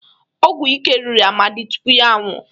ọgwụ ike riri Amadi tupu ya anwụọ